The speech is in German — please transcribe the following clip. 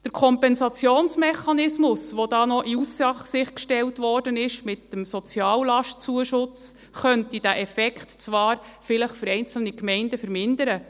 – Der Kompensationsmechanismus, mit dem «Soziallastzuschuss», der in Aussicht gestellt wurde, könnte diesen Effekt zwar vielleicht für einzelne Gemeinden vermindern.